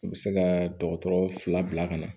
U bɛ se ka dɔgɔtɔrɔ fila bila ka na